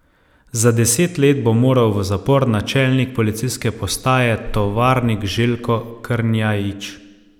Za deset let bo moral v zapor načelnik policijske postaje Tovarnik Željko Krnjajić.